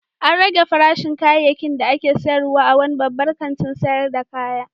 An rage farashin kayayyakin da ake sayarwa a wani babban kantin sayar da kaya.